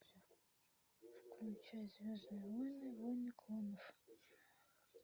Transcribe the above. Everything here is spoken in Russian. включай звездные войны войны клонов